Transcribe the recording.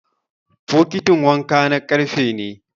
bokitin wanka na karfe ne